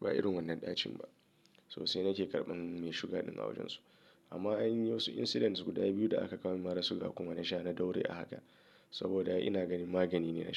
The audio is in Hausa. Ba irin wannan ɗacin ba. So sai nake karɓan me sugar ɗin a wajen su. Amma anyi wasu incidents guda biyu da aka kawo min mara sugar kuma na sha na daure a haka saboda ina ganin magani ne.